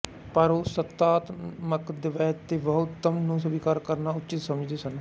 ਪਰ ਉਹ ਸੱਤਾਤਮਕ ਦਵੈਤ ਅਤੇ ਬਹੁਤਵ ਨੂੰ ਸਵੀਕਾਰ ਕਰਨਾ ਉਚਿਤ ਸਮਝਦੇ ਸਨ